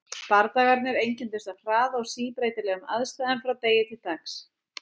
Bardagarnir einkenndust af hraða og síbreytilegum aðstæðum frá degi til dags.